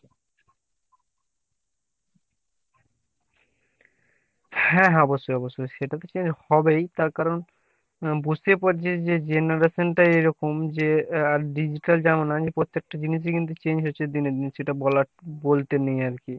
হ্যাঁ হ্যাঁ ,অবশ্যই অবশ্যই সেটা তো change হবেই তার কারণ বুঝতেই পারছিস যে generation টাই এরকম যে আহ digital জামানায় প্রত্যেকটা জিনিস ই কিন্তু change হচ্ছে দিনে দিনে সেটা বলা বলতে নেই আরকি।